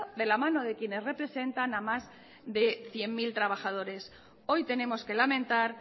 de la mano de quienes representan a más de cien mil trabajadores hoy tenemos que lamentar